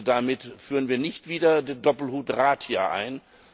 Damit führen wir nicht wieder den Doppelhut Rat hier ein.